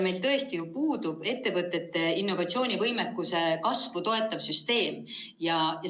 Meil tõesti puudub ettevõtete innovatsioonivõimekuse kasvu toetav süsteem.